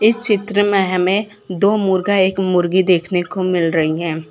इस चित्र में हमें दो मुर्गा एक मुर्गी देखने को मिल रही हैं।